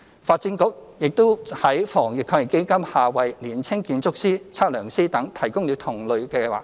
發展局也在防疫抗疫基金下為年輕建築師、測量師等提供同類計劃。